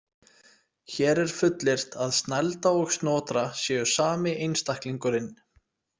Hér er fullyrt að Snælda og Snotra séu sami einstaklingurinn.